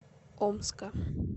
омска